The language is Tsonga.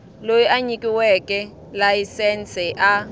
loyi a nyikiweke layisense a